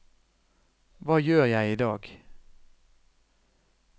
hva gjør jeg idag